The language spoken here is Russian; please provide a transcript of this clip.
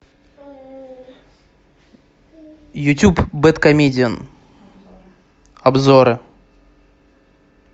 ютуб бэдкомедиан обзоры